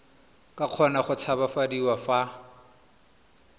ka kgona go tshabafadiwa fa